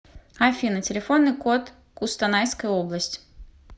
афина телефонный код кустанайская область